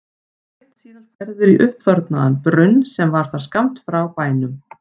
Var Sveinn síðan færður í uppþornaðan brunn sem þar var skammt frá bænum.